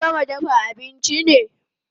Kin gama dafa abinchi ne?